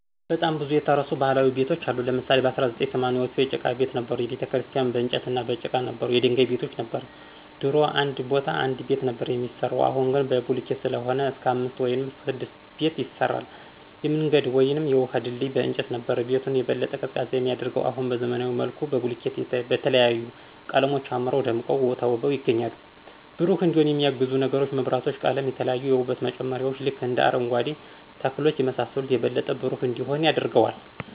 በጣም ብዙ የተረሱ ባህላዊ ቤቶች አሉ ለምሳሌ በ1980ዎቹ የጭቃ ቤት ነበሩ፣ ቤተክርስቲያን በንጨትና በጭቃ ነበሩ፣ የድንጋይ ቤቶች ነበር፣ ድሮ እንድ ቤ ቦታ አንድ ቤት ነበር ሚያሰራው አሁን ግን በቡልኬት ሰለሆነ እስክ አምስት ውይም ስድስት ቤት ያሰራል፣ የምንገድ ውይም የውሀ ድልድይ በእንጨት ነበር። ቤቱን የበለጠ ቀዝቃዛ የሚያደርገው አሁን በዘመናዊ መልኩ በቡልኬት በተለያዩ ቀለሞች አምረው ደምቀው ተውበው ይገኛሉ። ብሩህ እንዲሆን የሚያግዙ ነገሮች መብራቶች፣ ቀለም፣ የተለያዩ የውበት መጨመርያዎች ልክ እንደ አረንጓኬ ተክሎች የመሳሰሉት የበለጠ ብሩህ እንዲሆን ያደርገዋል።